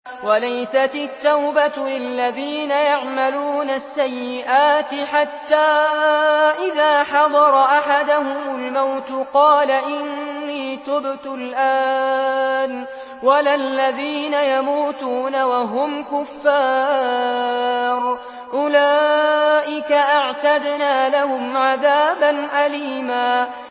وَلَيْسَتِ التَّوْبَةُ لِلَّذِينَ يَعْمَلُونَ السَّيِّئَاتِ حَتَّىٰ إِذَا حَضَرَ أَحَدَهُمُ الْمَوْتُ قَالَ إِنِّي تُبْتُ الْآنَ وَلَا الَّذِينَ يَمُوتُونَ وَهُمْ كُفَّارٌ ۚ أُولَٰئِكَ أَعْتَدْنَا لَهُمْ عَذَابًا أَلِيمًا